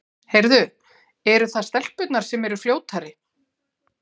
Heyrðu, eru það stelpurnar sem eru fljótari?